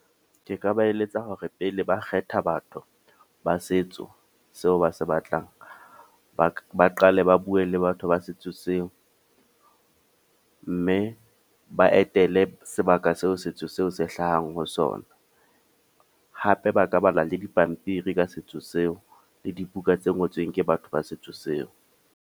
Ke ka ba eletsa hore pele ba kgetha batho, ba setso seo ba se batlang. Ba ba qale ba bue le batho ba setso seo. Mme ba etele sebaka seo setso seo se hlahang ho sona. Hape ba ka bala le dipampiri ka setso seo, le dibuka tse ngotsweng ke batho ba setso seo.